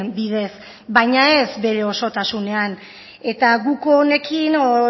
bidez baina ez bere osotasunean eta guk honekin